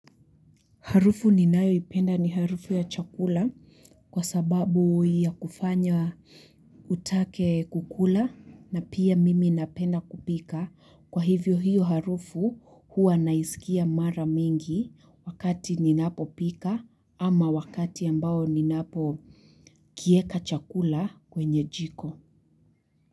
Harufu ninayo ipenda ni harufu ya chakula kwa sababu ya kufanya utake kukula na pia mimi napenda kupika kwa hivyo hiyo harufu huwa naisikia mara mingi wakati ninapo pika ama wakati ambao ninapo kieka chakula kwenye jiko.